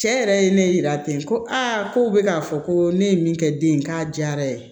Cɛ yɛrɛ ye ne yira ten ko ko bɛ k'a fɔ ko ne ye min kɛ den ye k'a diyara ye